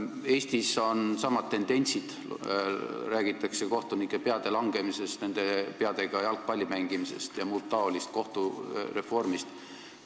Eestis on samad tendentsid: räägitakse kohtunike peade langemisest, nende peadega jalgpalli mängimisest ja muud taolist, kohtureformist.